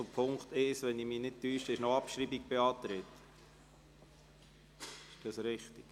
Für den Punkt 1 ist zudem die Abschreibung beantragt.